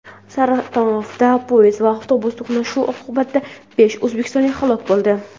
Saratovda poyezd va avtobus to‘qnashuvi oqibatida besh o‘zbekistonlik halok bo‘ldi.